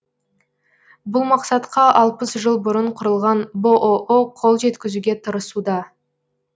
бұл мақсатқа алпыс жыл бұрын құрылған бұұ қол жеткізуге тырысуда